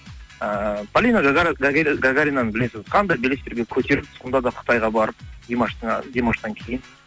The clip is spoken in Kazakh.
ыыы полина гагаринаны білесіз қандай белестерге көтеріліп сонда да қытайға барып димаштан кейін